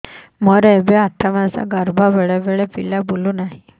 ମୋର ଏବେ ଆଠ ମାସ ଗର୍ଭ ବେଳେ ବେଳେ ପିଲା ବୁଲୁ ନାହିଁ